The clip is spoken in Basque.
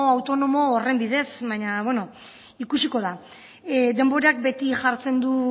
autonomo horren bidez baina bueno ikusiko da denborak beti jartzen du